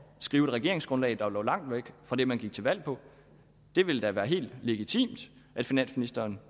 skrive et regeringsgrundlag der lå langt væk fra det man gik til valg på det ville da være helt legitimt at finansministeren